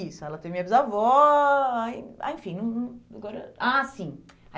Isso, ela teve a minha bisavó, aí, ah enfim... Agora. Ah, sim!